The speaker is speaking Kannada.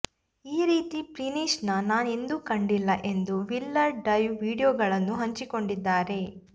ಈ ರೀತಿ ಫಿನಿಶ್ ನಾ ಎಂದೂ ಕಂಡಿಲ್ಲ ಎಂದು ಮಿಲ್ಲರ್ ಡೈವ್ ವಿಡಿಯೋಗಳನ್ನು ಹಂಚಿಕೊಂಡಿದ್ದಾರೆ